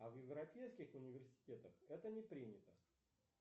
а в европейских университетах это не принято